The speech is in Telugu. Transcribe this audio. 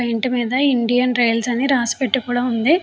వాటి మీద ఇండియన్ రైల్స్ అని రాసి పెట్టుకోవడం ఉంది.